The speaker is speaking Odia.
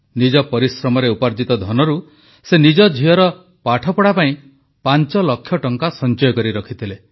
ନିଜ ପରିଶ୍ରମରେ ଉପାର୍ଜିତ ଧନରୁ ସେ ନିଜ ଝିଅର ପାଠପଢ଼ା ପାଇଁ ପାଂଚଲକ୍ଷ ଟଙ୍କା ସଂଚୟ କରି ରଖିଥିଲେ